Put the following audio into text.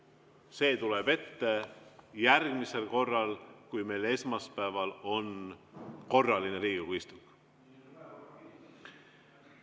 See tuleb ette järgmisel korral, kui meil esmaspäeval on korraline Riigikogu istung.